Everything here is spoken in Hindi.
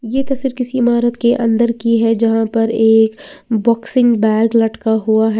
ये तस्वीर किसी इमारत के अंदर की है जहां पर एक बॉक्सिंग बैग लटका हुआ है।